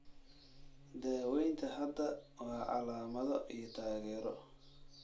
Daawaynta hadda waa calaamado iyo taageero.